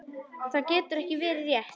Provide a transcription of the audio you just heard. Það getur ekki verið rétt.